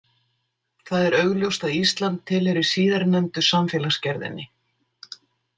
Það er augljóst að Ísland tilheyrir síðarnefndu samfélagsgerðinni.